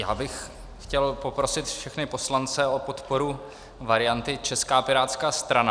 Já bych chtěl poprosit všechny poslance o podporu varianty Česká pirátská strana.